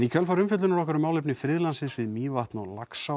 í kjölfar umfjöllunar okkar um málefni friðlandsins við Mývatn og Laxá